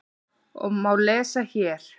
og má lesa hér.